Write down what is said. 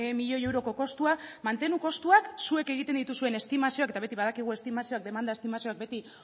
milioi euroko kostua mantenuko kostuak zuek egiten dituzuen estimazioak eta beti badakigu estimazioak demanda estimazioak beti